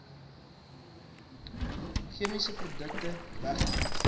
chemiese produkte wegdoen